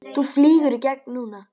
Þú flýgur í gegn núna!